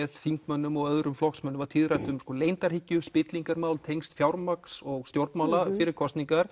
þingmönnum og flokksmönnum var tíðrætt um leyndarhyggju spillingarmál tengsl fjármagns og stjórnmála fyrir kosningar